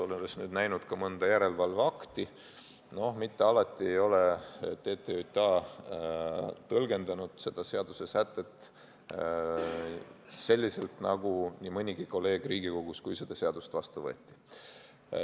Olen nüüd näinud ka mõnda järelevalveakti ja mitte alati ei ole TTJA tõlgendanud seda seadussätet selliselt nagu nii mõnigi kolleeg Riigikogus, kui seda seadust vastu võeti.